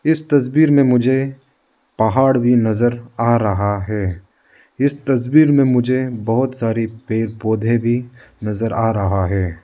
इस तस्वीर में मुझे पहाड़ भी नजर आ रहा है इस तस्वीर में मुझे बहुत सारी पेड़ पौधे भी नजर आ रहा है।